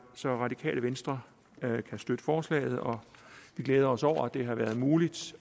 så radikale venstre kan støtte forslaget og vi glæder os over at det har været muligt